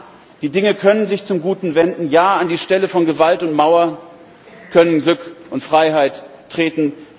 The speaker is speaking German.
Ja, die Dinge können sich zum Guten wenden, ja, an die Stelle von Gewalt und Mauer können Glück und Freiheit treten.